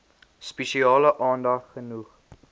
spesiale aandag genoeg